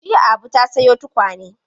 Jiya Abu ta sayo tukwane.